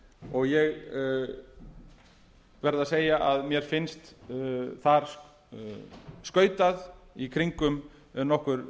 og ég verð að segja á mér finnst mér þar skautað í kringum nokkur